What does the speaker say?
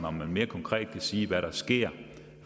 om man mere konkret kan sige hvad der sker